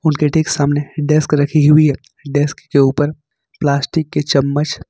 उनके ठीक सामने डेस्क रखी हुई है डेस्क के ऊपर प्लास्टिक के चम्मच--